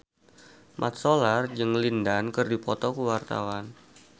Mat Solar jeung Lin Dan keur dipoto ku wartawan